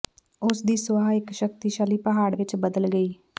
ਉਸ ਦੀ ਸੁਆਹ ਇਕ ਸ਼ਕਤੀਸ਼ਾਲੀ ਪਹਾੜ ਵਿਚ ਬਦਲ ਗਈ